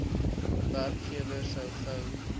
werkgewer so gou